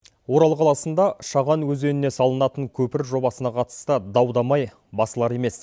орал қаласында шаған өзеніне салынатын көпір жобасына қатысты дау дамай басылар емес